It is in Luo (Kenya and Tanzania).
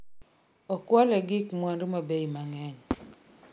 Okwale gig mwandu ma bei mang'eny